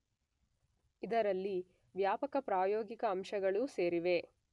ಇದರಲ್ಲಿ ವ್ಯಾಪಕ ಪ್ರಾಯೋಗಿಕ ಅಂಶಗಳೂ ಸೇರಿವೆ.